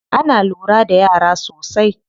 Ana lura da yara sosai.